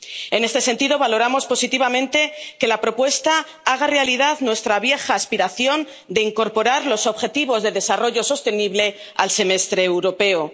En este sentido, valoramos positivamente que la propuesta haga realidad nuestra vieja aspiración de incorporar los Objetivos de Desarrollo Sostenible al Semestre Europeo.